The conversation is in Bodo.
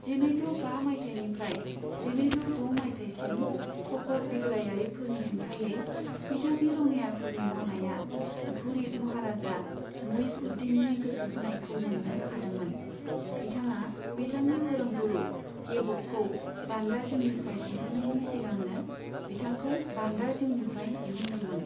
जिनैजौ बा मायथाइनिफ्राय जिनैजौ द' मायथाइसिम ख'खर बिग्रायारिफोरनि हेंथायै बिथांनि रौनियाफोरनि मावनाया घुरिद महाराजा मुइज्ज उद दीननि गोसोहोनायखौ मोन्नो हादोंमोन, बिथाङा बिथांनि फोरोंगुरु ऐबकखौ बान्दा जिउनिफ्राय दिहुन्नायनि सिगांनो बिथांखौ बान्दा जिउनिफ्राय दिहुनदोंमोन।